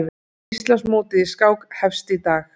Íslandsmótið í skák hefst í dag